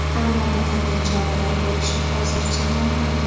Ammo bu qanday choralar bo‘lishi hozircha noma’lum.